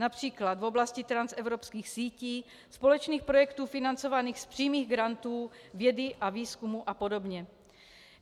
Například v oblasti transevropských sítí, společných projektů financovaných z přímých grantů, vědy a výzkumu a podobně.